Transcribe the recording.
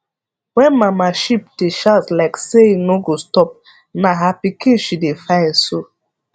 wen mama sheep dey shout like say e no go stop na her pikin she dey find so